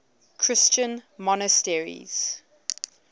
christian monasteries